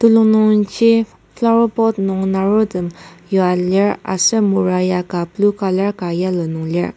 telung nung ji flower pot nung narotem yua lir aser mora ka blue colour ka yellow nung lir.